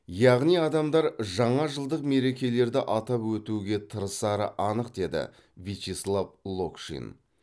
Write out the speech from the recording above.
яғни адамдар жаңажылдық мерекелерді атап өтуге тырысары анық деді вячеслав локшин